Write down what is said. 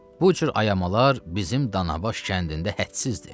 Bu cür ayamalar bizim Danabaş kəndində hədsizdir.